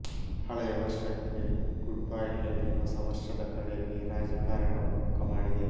ಹಳೆಯ ವರ್ಷಕ್ಕೆ goodbye ಹೇಳಿ ಹೊಸ ವರ್ಷದ ಕಡೆಗೆ ರಾಜಕಾರಣವೂ ಮುಖ ಮಾಡಿದೆ